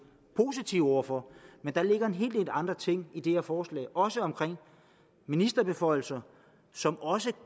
positive over for men der ligger en hel del andre ting i det her forslag også omkring ministerbeføjelser som også